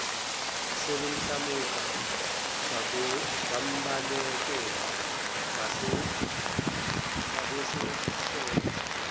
sebemhlamuka bembalekela babesahleka